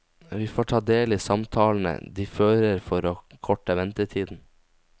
Vi får ta del i samtalene de fører for å korte ventetiden.